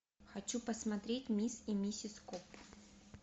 хочу посмотреть мисс и миссис коп